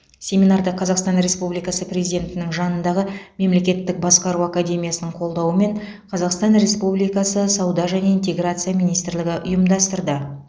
семинарды қазақстан республикасы президентінің жанындағы мемлекеттік басқару академиясының қолдауымен қазақстан республикасы сауда және интеграция министрлігі ұйымдастырды